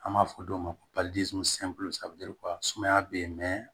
An b'a fɔ dɔw ma ko sumaya bɛ yen